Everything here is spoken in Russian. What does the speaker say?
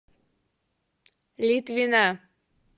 литвина